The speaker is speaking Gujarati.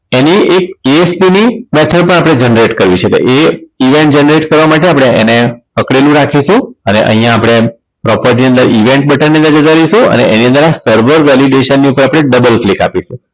એની એક ASP ની method ની આપણે પણ generate કરી શકાય એ event generate કરવા માટે આપણે એને પકડેલું રાખીશું અને અહીંયા આપણે property ની અંદર event button પર જતા રહીશું અને એની અંદર server validation ઉપર આપણે double click આપીશું